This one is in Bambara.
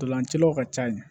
Ntolancilaw ka ca yen